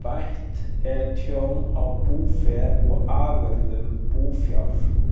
Bætt er tjón á búfé og afurðum búfjár.